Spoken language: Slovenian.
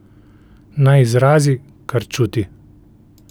Naj izrazi, kar čuti.